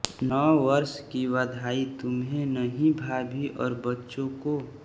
नववर्ष की वधाई तुम्हें नहीं भाभी और बच्चों को